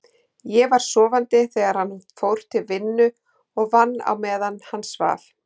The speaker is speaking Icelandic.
Ég var sofandi þegar hann fór til vinnu og vann á meðan hann svaf.